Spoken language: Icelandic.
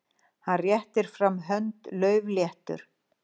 Hann réttir fram hönd, laufléttur.